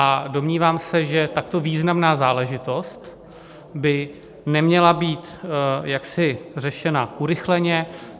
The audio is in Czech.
A domnívám se, že takto významná záležitost by neměla být jaksi řešena urychleně.